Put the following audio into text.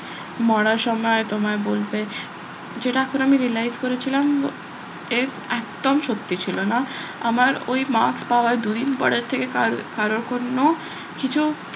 মরার সময় তোমায় বলবে যেটা পরে আমি realize করেছিলাম এর একদম সত্যি ছিল না আমার ওই marks পাওয়ার দুদিন পরের থেকে কারোর কোনো কিছু,